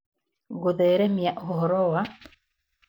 Gũtheremia ũhoro wa